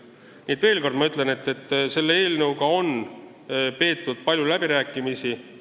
Ma ütlen veel kord, et selle eelnõu üle on peetud palju läbirääkimisi.